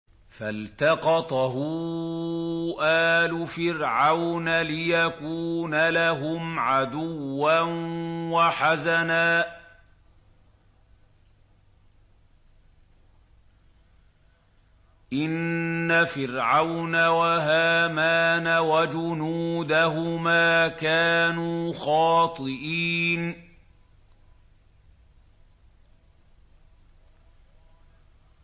فَالْتَقَطَهُ آلُ فِرْعَوْنَ لِيَكُونَ لَهُمْ عَدُوًّا وَحَزَنًا ۗ إِنَّ فِرْعَوْنَ وَهَامَانَ وَجُنُودَهُمَا كَانُوا خَاطِئِينَ